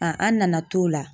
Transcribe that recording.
A an nana t'o la.